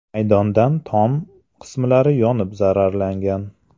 maydondan tom qismlari yonib zararlangan.